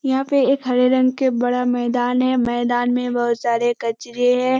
यहाँ पे एक हरे रंग का बड़ा मैदान है। मैदान में बहोत सारे कचरे हैं।